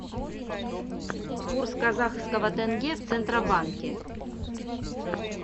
курс казахского тенге в центробанке